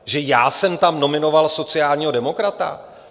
Že já jsem tam nominoval sociálního demokrata?